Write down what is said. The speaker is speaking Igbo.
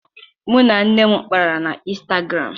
Mụ na nne m kpara na Ịnstagram